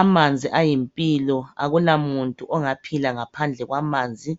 Amanzi ayimpilo, akula muntu ongaphila ngaphandle kwamanzi.